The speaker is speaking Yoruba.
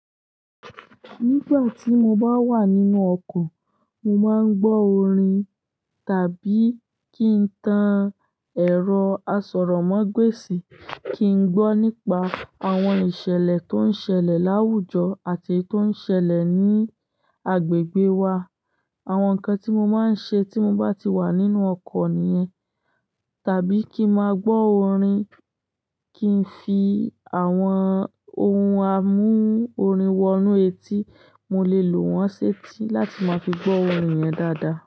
Nígbà tí mo bá wà nínú ọkọ̀, mo máa ń gbọ́ orin tàbí kí n tan ẹrọ asọ̀rọ̀mágbèsì kí n gbọ́ nípa àwọn ìṣẹ̀lẹ̀ tó ń ṣẹlẹ̀ láwùjọ àti eyi tó ń ṣẹlẹ̀ ní agbègbè wa. Àwọn nǹkan tí mo máa ń ṣe tí mo bá ti wà nínú ọkọ̀ nìyẹn. Tàbí kí máa gbọ́ orin, kí n fi àwọn ohun amu orin wọnú etí, mo lè lo wọn sẹ́tí láti máa fi gbọ́ orin yẹn dáadáa.